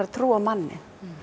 að trúa á manninn